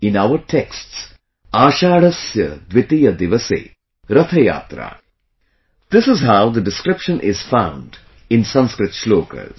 In our texts 'Ashadhasya Dwitiya divase... Rath Yatra', this is how the description is found in Sanskrit shlokas